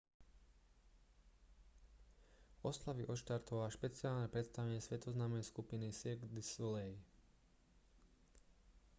oslavy odštartovalo špeciálne predstavenie svetoznámej skupiny cirque du soleil